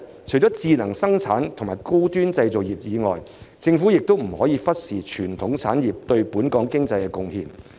除智能生產和高端製造業外，政府亦不可忽視傳統產業對本港經濟的貢獻。